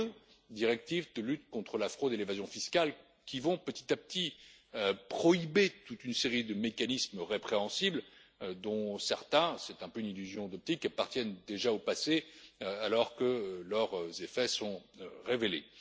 Les deux directives de lutte contre la fraude et l'évasion fiscales qui vont, petit à petit, prohiber toute une série de mécanismes répréhensibles, dont certains c'est un peu une illusion d'optique appartiennent déjà au passé, alors que leurs effets sont révélés.